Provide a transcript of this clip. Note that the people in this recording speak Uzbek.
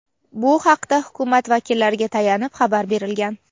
Bu haqda Hukumat vakillariga tayanib xabar berilgan.